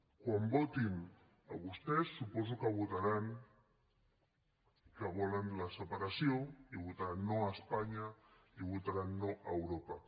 quan els votin a vostès suposo que votaran que volen la separació i votaran no a espanya i votaran no a europa